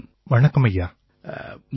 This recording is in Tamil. தினேஷ் உபாத்யாயா ஜி வணக்கம் ஐயா